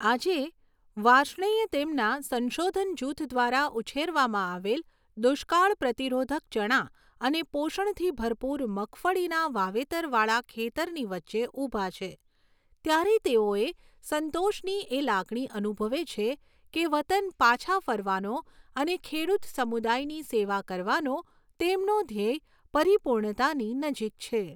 આજે, વાર્ષ્ણેય તેમના સંશોધન જૂથ દ્વારા ઉછેરવામાં આવેલ દુષ્કાળ પ્રતિરોધક ચણા અને પોષણથી ભરપૂર મગફળીના વાવેતરવાળા ખેતરની વચ્ચે ઉભા છે, ત્યારે તેઓ એ સંતોષની એ લાગણી અનુભવે છે કે વતન પાછા ફરવાનો અને ખેડૂત સમુદાયની સેવા કરવાનો તેમનો ધ્યેય પરિપૂર્ણતાની નજીક છે.